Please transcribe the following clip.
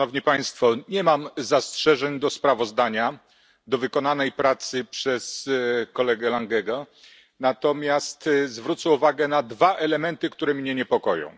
Nie mam zastrzeżeń do sprawozdania, do pracy wykonanej przez kolegę Langego, natomiast zwrócę uwagę na dwa elementy, które mnie niepokoją.